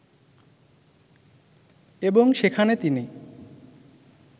এবং সেখানে তিনি